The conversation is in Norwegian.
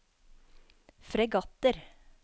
fregatter